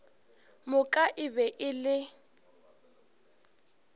moka e be e le